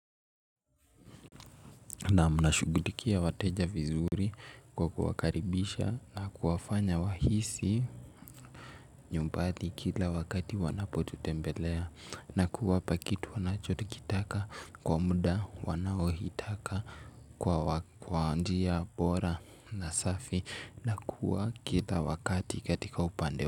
Naam nashugutikia wateja vizuri kwa kuwakaribisha na kuwafanya wahisi nyumbati kila wakati wanapotutembelea na kuwapa kitu wanachotikitaka kwa mda wanaohitaka kwa njia bora na safi na kuwa kila wakati katika upande.